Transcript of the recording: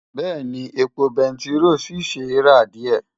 Bẹ́ẹ̀ni, epo bẹntiró ṣì ṣe é rà díẹ̀.